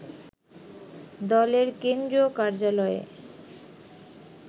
দলের কেন্দ্রীয় কার্যালয়ে